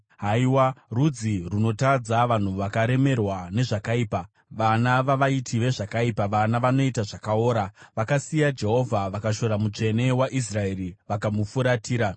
Haiwa, rudzi runotadza, vanhu vakaremerwa nezvakaipa, vana vavaiti vezvakaipa, vana vanoita zvakaora! Vakasiya Jehovha; vakashora Mutsvene waIsraeri vakamufuratira.